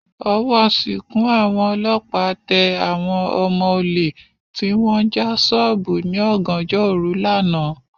Ọwọ́ sìnkún àwọn ọlọ́pàá tẹ àwọn ọmọ olè tí wọ́n ń já sọ́ọ̀bù ní ọ̀gànjọ́ òru lánàá